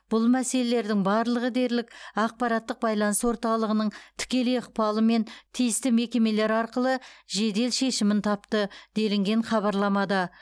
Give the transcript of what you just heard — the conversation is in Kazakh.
бұл мәселелердің барлығы дерлік ақпараттық байланыс орталығының тікелей ықпалымен тиісті мекемелер арқылы жедел шешімін тапты делінген хабарламада